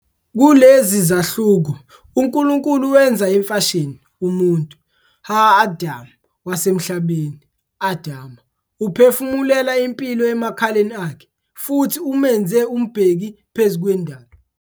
Kulezi zahluko uNkulunkulu wenza imfashini "umuntu", "ha adam", wasemhlabeni, "adamah", uphefumulela impilo emakhaleni akhe, futhi umenze umbheki phezu kwendalo.